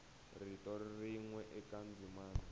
rito rin we eka ndzimana